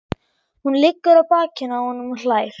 Hún liggur á bakinu á honum og hlær.